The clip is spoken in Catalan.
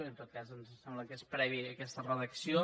en tot cas ens sembla que és prèvia aquesta redacció